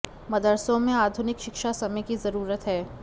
मदरसों में आधुनिक शिक्षा समय की ज़रूरत है